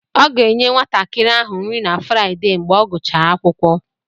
Ọ ga-enye nwatakịrị ahụ nri na Fraịdee mgbe ọ gụchaa akwụkwọ.